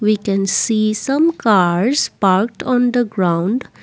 we can see some cars parked on the ground.